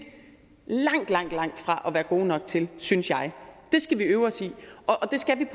langt langt fra at være gode nok til synes jeg det skal vi øve os i og det skal vi